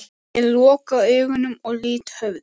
Ég loka augunum og lýt höfði.